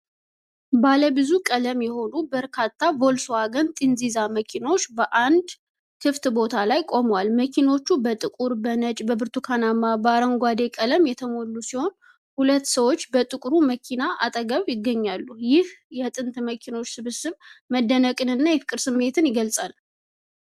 ባለ ብዙ ቀለም የሆኑ በርካታ ቮልስዋገን ጥንዚዛ መኪኖች በአንድ ክፍት ቦታ ላይ ቆመዋል። መኪኖቹ በጥቁር፣ በነጭ፣ በብርቱካንማና በአረንጓዴ ቀለም የተሞሉ ሲሆኑ፣ ሁለት ሰዎች በጥቁሩ መኪና አጠገብ ይገኛሉ። ይህ የጥንት መኪኖች ስብስብ መደነቅንና የፍቅር ስሜትን ይገልጻል።